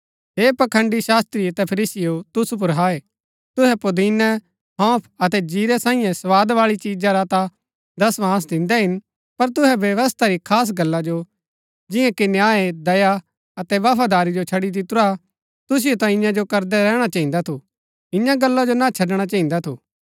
हे पखंड़ी शास्त्री अतै फरीसीयों तुसु पुर हाय तुहै पुदिनै हौंफ अतै जीरै सांईये स्वाद बाळी चिजा रा ता दशवांश दिन्दै हिन पर तुहै व्यवस्था री खास गल्ला जो जियां कि न्याय दया अतै बफादारी जो छड़ी दितुरा तुसिओ ता इन्या जो करदै रैहणा चहिन्दा थु ईयां गल्ला जो ना छड़णा चहिन्दा थु